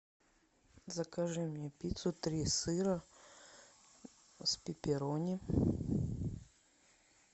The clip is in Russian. закажи мне пиццу три сыра с пепперони